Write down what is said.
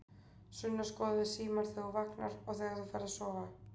Sunna: Skoðarðu símann þegar þú vaknar og þegar þú ferð að sofa?